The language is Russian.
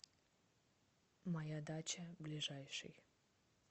моя дача ближайший